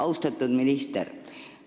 Austatud minister!